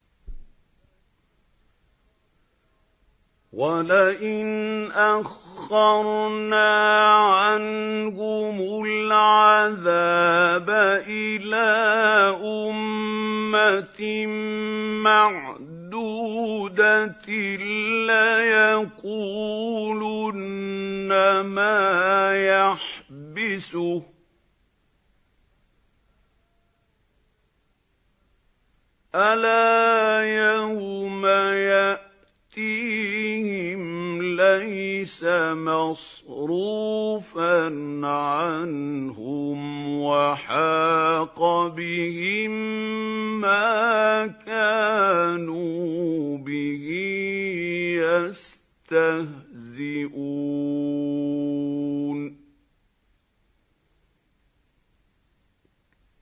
وَلَئِنْ أَخَّرْنَا عَنْهُمُ الْعَذَابَ إِلَىٰ أُمَّةٍ مَّعْدُودَةٍ لَّيَقُولُنَّ مَا يَحْبِسُهُ ۗ أَلَا يَوْمَ يَأْتِيهِمْ لَيْسَ مَصْرُوفًا عَنْهُمْ وَحَاقَ بِهِم مَّا كَانُوا بِهِ يَسْتَهْزِئُونَ